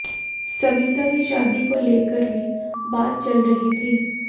सविता की शादी को लेकर भी बात चल रही थी